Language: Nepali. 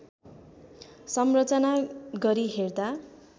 संरचना गरी हेर्दा